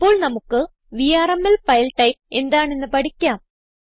ഇപ്പോൾ നമുക്ക് VRML file type എന്താണെന്ന് പഠിക്കാം